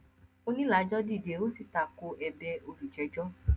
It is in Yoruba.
onílàjọ dìde ó sì tako ẹ̀bẹ̀ olùjẹjọ